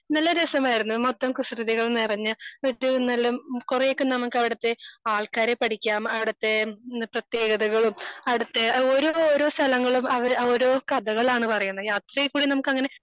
നല്ല രസവുമായിരുന്നു. മൊത്തം കുസൃതികളും നിറഞ്ഞ ഏറ്റവും നല്ല കുറേ ഒക്കെ നമുക്ക് അവിടുത്തെ ആൾക്കാരെ പഠിക്കാം. അവിടുത്തെ പ്രതേകതകളും അവിടുത്തെ ഓരോ ഓരോ സ്ഥലങ്ങളും അവിടെ ഓരോ കഥകളാണ് പറയ്ണത്. അത് അതേപോലെ നമുക്ക് അങ്ങനെ